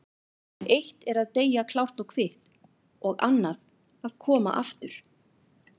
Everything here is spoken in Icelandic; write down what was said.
En eitt er að deyja klárt og kvitt og annað að koma aftur.